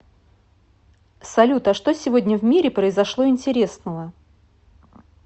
салют а что сегодня в мире произошло интересного